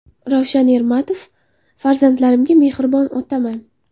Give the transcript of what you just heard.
Ravshan Ermatov: Farzandlarimga mehribon otaman.